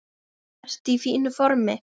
Ertu í fínu formi?